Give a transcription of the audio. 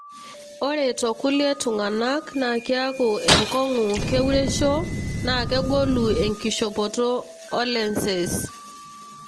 ore tokulie tungana na kiaku enkongu keuresho na kegolu enkishopoto olenses.